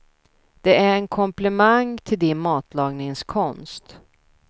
Det är en komplimang till din matlagningskonst.